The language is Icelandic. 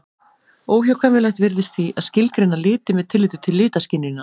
Óhjákvæmilegt virðist því að skilgreina liti með tilliti til litaskynjunar.